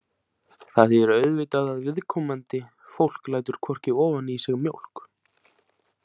Það þýðir auðvitað að viðkomandi fólk lætur hvorki ofan í sig mjólk.